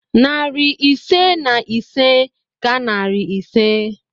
Narị ise na ise ka narị ise.